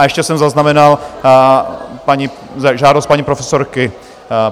A ještě jsem zaznamenal žádost paní profesorky.